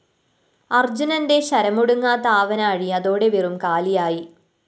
അര്‍ജുനന്റെ ശരമൊടുങ്ങാത്ത ആവനാഴി അതോടെ വെറും കാലിയായി